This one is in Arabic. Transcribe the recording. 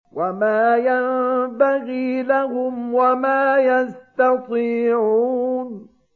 وَمَا يَنبَغِي لَهُمْ وَمَا يَسْتَطِيعُونَ